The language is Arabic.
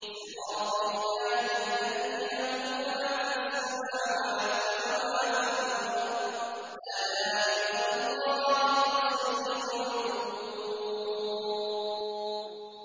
صِرَاطِ اللَّهِ الَّذِي لَهُ مَا فِي السَّمَاوَاتِ وَمَا فِي الْأَرْضِ ۗ أَلَا إِلَى اللَّهِ تَصِيرُ الْأُمُورُ